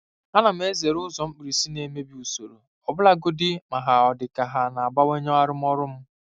Ana m ezere ụzọ mkpirisi na-emebi usoro, ọbụlagodi ma ọ dị ka ha na-abawanye arụmọrụ m.